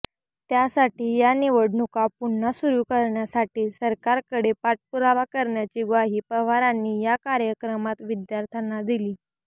त्यासाठी या निवडणुका पुन्हा सुरू करण्यासाठी सरकारकडे पाठपुरावा करण्याची ग्वाही पवारांनी या कार्यक्रमात विद्यार्थ्यांना दिली